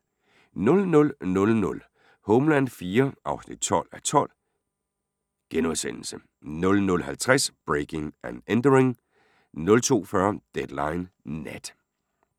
00:00: Homeland IV (12:12)* 00:50: Breaking and Entering 02:40: Deadline Nat